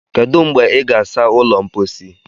Kedu mgbe ị ga-asa ụlọ mposi?